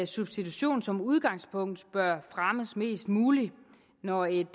substitution som udgangspunkt bør fremmes mest muligt når et